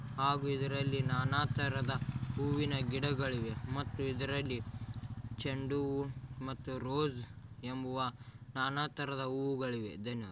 ಹಾಗೂ ಇದರಲ್ಲಿ ನಾನಾ ತರದ ಹೂವಿನ ಗಿಡಗಳಿವೆ ಮತ್ತು ಇದರಲ್ಲಿ ಚೆಂಡು ಹೂವು ಮತ್ತು ರೋಜ್ ಎಂಬುವ ನಾನಾ ತರದ ಹೂವುಗಳಿವೆ. ಧನ್ಯವಾ --